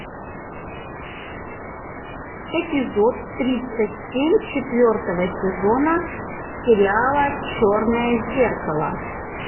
эпизод тридцать семь четвертого сезона сериала черное зеркало